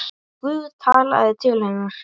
En Guð talaði til hennar.